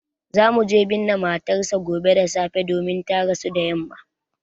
Za mu je binne matar sa gobe da safe domin ta rasu da yamma